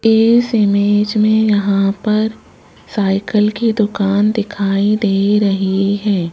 इस इमेज में यहां पर साइकिल की दुकान दिखाई दे रही है।